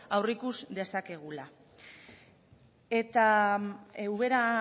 aurreikus dezakegula eta ubera